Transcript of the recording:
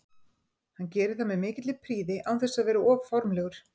Hann gerir það með mikilli prýði án þess að vera of formlegur.